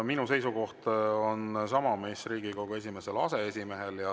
Minu seisukoht on sama, mis Riigikogu esimesel aseesimehel.